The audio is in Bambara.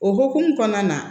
O hokumu kɔnɔna na